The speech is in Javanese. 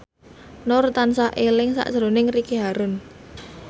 Nur tansah eling sakjroning Ricky Harun